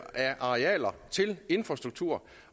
af arealer til infrastruktur